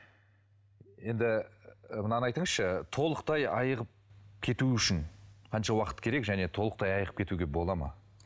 енді мынаны айтыңызшы толықтай айығып кету үшін қанша уақыт керек және толықтай айығып кетуге бола ма